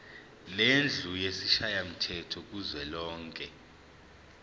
lendlu yesishayamthetho kuzwelonke